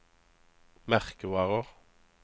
merkevarer